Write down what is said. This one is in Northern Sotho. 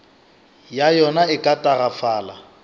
ya yona e ka tagafala